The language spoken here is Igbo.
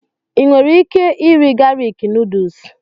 Ị nwere ike irì galik nuduls?